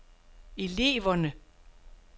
eleverne